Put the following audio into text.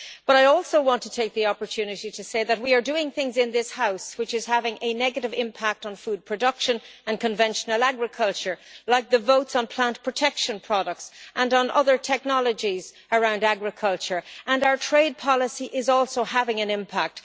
I also want to take the opportunity to say that we are doing things in this House which are having a negative impact on food production and conventional agriculture, like the votes on plant protection products and on other technologies around agriculture and our trade policy is also having an impact.